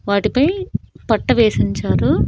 వాటిపై పట్టు వేసుంచారు.